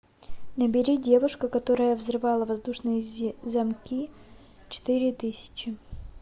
набери девушка которая взрывала воздушные замки четыре тысячи